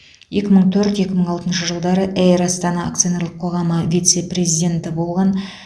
екі мың төрт екі мың алтыншы жылдары эйр астана акционерлік қоғамы вице президенті болған